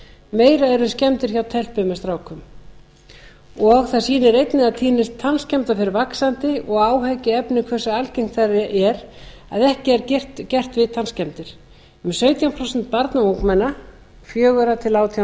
meira er um skemmdir hjá telpum en strákum og það þýðir einnig að tíðni tannskemmda fer vaxandi og áhyggjuefni hversu algengt það er að ekki er gert við tannskemmdir um sautján prósent barna og ungmenna fjögur a til átján